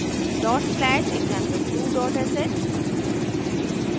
dot slash example2 dot sh